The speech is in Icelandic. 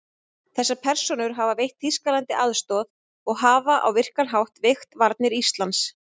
Þessar persónur hafa veitt Þýskalandi aðstoð og hafa á virkan hátt veikt varnir Íslands.